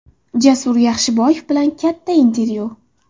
Jasur Yaxshiboyev bilan katta intervyu !